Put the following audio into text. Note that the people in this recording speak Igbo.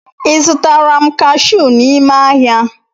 Ị zụtara m kashụ n’ime ahịa?